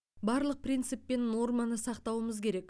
барлық принцип пен норманы сақтауымыз керек